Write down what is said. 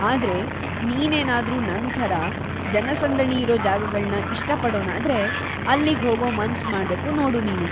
ಆದ್ರೆ,‌ ನೀನೇನಾದ್ರೂ ನನ್ ಥರ ಜನಸಂದಣಿಯಿರೋ ಜಾಗಗಳ್ನ ಇಷ್ಟ ಪಡೋನಾದ್ರೆ, ಅಲ್ಲಿಗ್ ಹೋಗೋ ಮನ್ಸ್‌ ಮಾಡ್ಬೇಕು ನೋಡು ನೀನು.